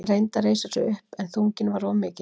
Hann reyndi að reisa sig upp en þunginn var of mikill.